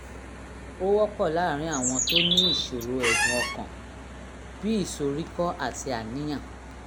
ó wọ́pọ̀ láàárín àwọn tó ní ìṣòro ẹ̀dùn ọkàn (bí ìsoríkọ́ àti àníyàn)